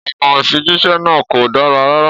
Ọ̀nà ìfijíṣẹ́ náà kò dára rárá.